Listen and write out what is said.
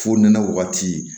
Fo nɛnɛ wagati